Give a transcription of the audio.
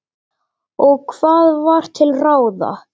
Og hvað var til ráða?